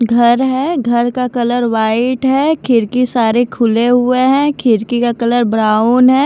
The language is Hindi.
घर है घर का कलर वाइट है खिड़की सारे खुले हुए हैं खिड़की का कलर ब्राउन है।